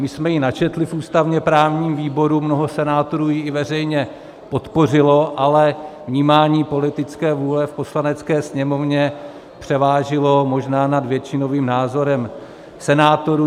My jsme ji načetli v ústavně-právním výboru, mnoho senátorů ji i veřejně podpořilo, ale vnímání politické vůle v Poslanecké sněmovně převážilo možná nad většinovým názorem senátorů.